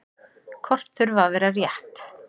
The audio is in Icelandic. Kort þurfa að vera rétt.